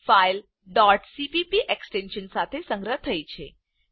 file cpp extension સાથે સંગ્રહ થઇ છે